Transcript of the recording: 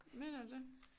Mener du det?